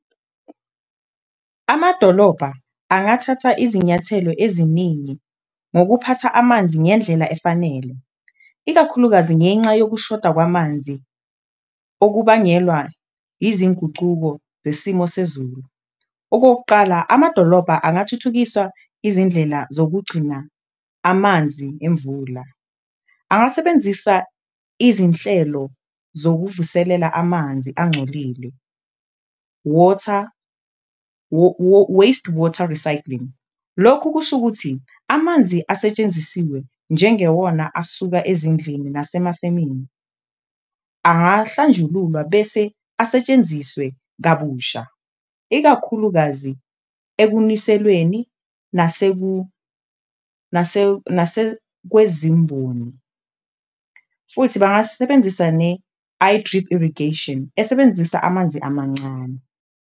Amadolobha angathatha izinyathelo eziningi ngokuphatha amanzi ngendlela efanele, ikakhulukazi ngenxa yokushoda kwamanzi okubangelwa izingucuko zesimo sezulu. Okokuqala, amadolobha angathuthukiswa izindlela zokugcina amanzi emvula. Angasebenzisa izinhlelo zokuvuselela amanzi angcolile water, waste water recycling, lokhu kusho ukuthi amanzi asetshenzisiwe njengewona asuka ezindlini nasemafemini angahlanjululwa bese asetshenziswe kabusha. Ikakhulukazi ekuniselweni nasekwezimboni futhi bangasebenzisa ne-iDrip irrigation esebenzisa amanzi amancane.